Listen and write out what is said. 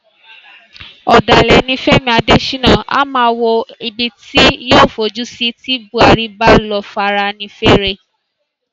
ọdàlẹ ni fẹmi adésínà á máa wo ibi tí yóò fojú sí tí buhari bá lọ afẹnifẹre